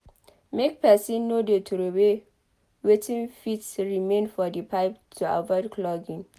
Make person no de trowey wetin fit remain for the pipe to avoid clogging